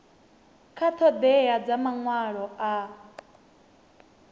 kha ṱhoḓea dza maṅwalo a